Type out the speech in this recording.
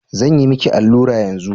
Zan yi miki allura yanzu?